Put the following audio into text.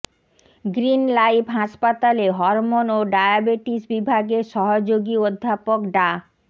green life হাসপাতালে hormone ও diabetes বিভাগের সহযোগী অধ্যাপক ডা